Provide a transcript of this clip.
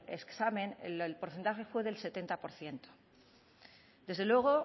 examen el porcentaje fue del setenta por ciento desde luego